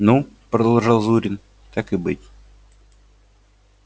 ну продолжал зурин так и быть